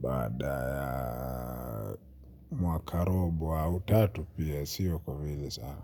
baada ya mwakarobo au tatu pia sio kwa vile sana.